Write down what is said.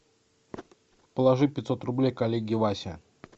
положи пятьсот рублей коллеге васе